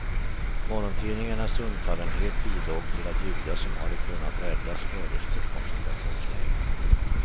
Morgontidningarnas undfallenhet bidrog till att judar som hade kunnat räddas fördes till koncentrationslägren.